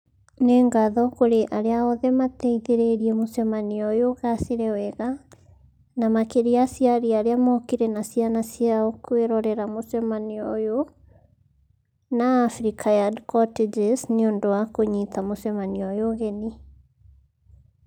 Nĩ ngatho kũrĩ arĩa othe mateithĩrĩirie mũcemanio ũyũ ũgacĩre wega, na makĩria aciari arĩa mookire na ciana ciao kwĩrorera mũcemanio ũyũ na Africa Yard Cottages nĩ ũndũ wa kũnyiita mũcemanio ũyũ ũgeni.